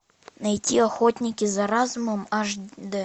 найти охотники за разумом аш дэ